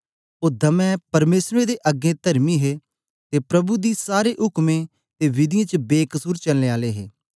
ओ दमै परमेसरें दे अगें तरमी हे ते प्रभु दी सारे उकमें ते विधियें च बेकसुर चलने आले हे